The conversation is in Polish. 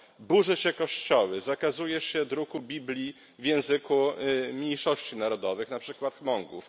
Burzy się kościoły, zakazuje się druku Biblii w języku mniejszości narodowych, na przykład Muongów.